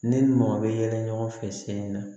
Ne ni mɔgɔ bɛ yɛlɛ ɲɔgɔn fɛ sen na